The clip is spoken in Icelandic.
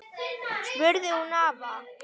spurði hún afa.